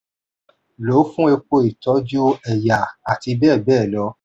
lò ó fún epo ìtọju ẹ̀yà ati bẹẹbẹẹ lọ